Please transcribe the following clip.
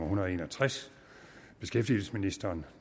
hundrede og en og tres beskæftigelsesministeren